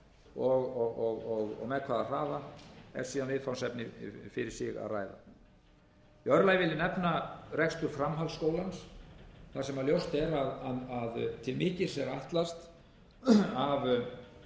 og með hvaða hraða er síðan viðfangsefni fyrir sig að ræða í öðru lagi vil ég nefna rekstur framhaldsskólans þar sem ljóst er að til mikils er ætlast af